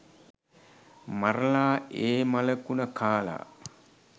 මරලා ඒ මල කුන කාලා.